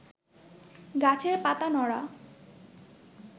গাছের পাতা নড়া